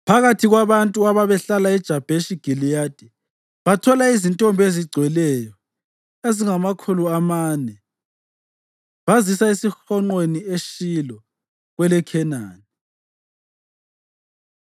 Phakathi kwabantu ababehlala eJabheshi Giliyadi bathola izintombi ezigcweleyo ezingamakhulu amane, bazisa ezihonqweni eShilo kweleKhenani.